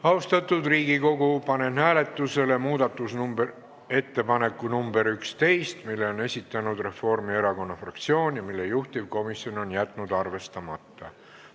Austatud Riigikogu, panen hääletusele muudatusettepaneku nr 11, mille on esitanud Reformierakonna fraktsioon ja mille juhtivkomisjon on jätnud arvestamata.